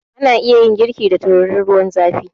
Ana iya yin girki da tururin ruwan zafi